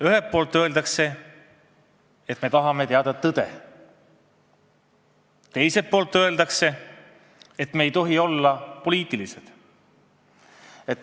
Ühelt poolt öeldakse, et me tahame teada tõde, teiselt poolt öeldakse, et me ei tohi olla poliitilised.